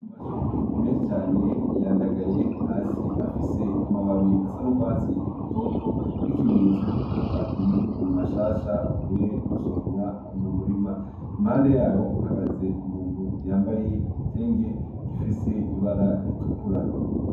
Amashu menshi cane yandagaye hasi. Afise amababi asa n'urwatsi rutoto nk'ikimenyetso y'uko akiri mashasha avuye gusoromwa mu murima. Impande yaho hahagaze umuntu yambaye igitenge gifise ibara ritukura.